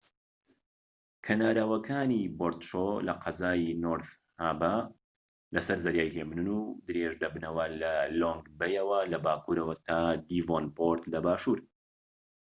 کەناراوەکانی بۆرت شۆر لە قەزای نۆرت هابە لەسەر زەریای هێمنن و درێژ دەبنەوە لە لۆنگ بەی یەوە لە باكوورەوە تا دیڤۆنپۆرت لە باشوور